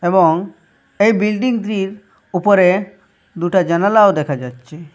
এবং এই বিল্ডিংটির উপরে দুটা জানালাও দেখা যাচ্ছে।